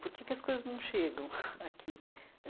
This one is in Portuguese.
Por que que as coisas não chegam aqui? ãh